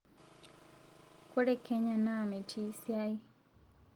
kore Kenya naa metii siai